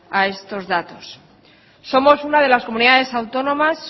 a estos datos somos una de las comunidades autónomas